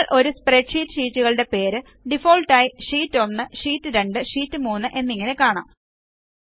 നിങ്ങൾ ഒരു സ്പ്രെഡ്ഷീറ്റ് ഷീറ്റുകളുടെ പേര് ഡിഫാൾട്ട് ആയി ഷീറ്റ് 1 ഷീറ്റ് 2 ഷീറ്റ് 3 എന്നിങ്ങനെ കാണാം